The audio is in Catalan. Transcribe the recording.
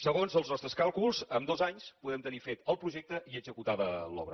segons els nostres càlculs en dos anys podem tenir fet el projecte i executada l’obra